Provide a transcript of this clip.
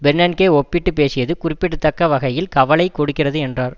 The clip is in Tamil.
பெர்னன்கே ஒப்பிட்டு பேசியது குறிப்பிடத்தக்க வகையில் கவலை கொடுக்கிறது என்றார்